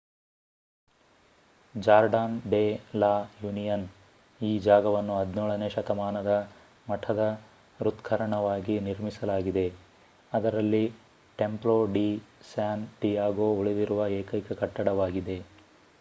Jordan de la Union ಈ ಜಾಗವನ್ನು 17 ನೇ ಶತಮಾನದ ಮಠದ ಹೃತ್ಕರ್ಣವಾಗಿ ನಿರ್ಮಿಸಲಾಗಿದೆ ಅದರಲ್ಲಿ ಟೆಂಪ್ಲೊ ಡಿ ಸ್ಯಾನ್ ಡಿಯಾಗೋ ಉಳಿದಿರುವ ಏಕೈಕ ಕಟ್ಟಡವಾಗಿದೆ